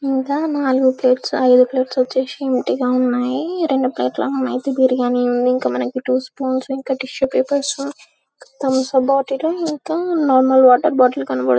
ఇంకా నాలుగు ప్లేట్లు ఐదు ప్లేట్లు వచ్చేసి ఉన్నాయి ఉన్నాయి రెండు ప్లేట్లు అయితే వెజ్ బిర్యానీ ఉంది రెండు టిష్యూ పేపర్లు రెండు స్పూన్స్ థమ్స్ అప్ బాటిల్ ఇంకా నార్మల్ వాటర్ బాటిల్ కనిపిస్తుంది.